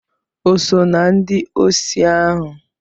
O so na ndị osi ahụ?